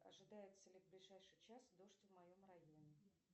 ожидается ли в ближайший час дождь в моем районе